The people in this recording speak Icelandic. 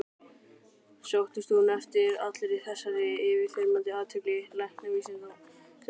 Sóttist hún eftir allri þessari yfirþyrmandi athygli læknavísindanna?